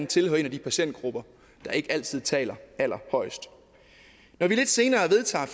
tilhører en af de patientgrupper der ikke altid taler allerhøjest når vi lidt senere vedtager